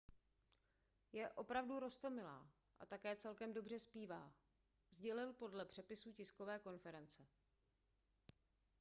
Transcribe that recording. je opravdu roztomilá a také celkem dobře zpívá sdělil podle přepisu tiskové konference